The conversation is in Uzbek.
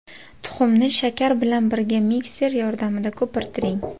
Tuxumni shakar bilan birga mikser yordamida ko‘pirtiring.